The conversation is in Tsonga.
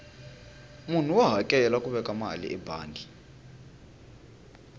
munhu wa hakela ku veka mali ebangi